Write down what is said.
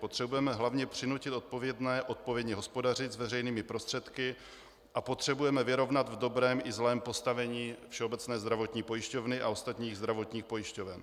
Potřebujeme hlavně přinutit odpovědné odpovědně hospodařit s veřejnými prostředky a potřebujeme vyrovnat v dobrém i zlém postavení Všeobecné zdravotní pojišťovny a ostatních zdravotních pojišťoven.